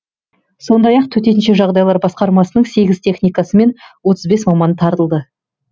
сондай ақ төтенше жағдайлар басқармасының сегіз техникасы мен отыз бес маманы тартылды